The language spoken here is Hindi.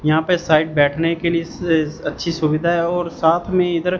यहां पे साइड बैठने के लिए अच्छी सुविधा है और साथ में इधर--